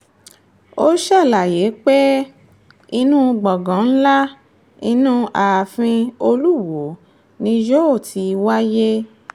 ó ṣàlàyé pé inú gbọ̀ngàn ńlá inú ààfin olùwọ́ọ́ ni yóò ti wáyé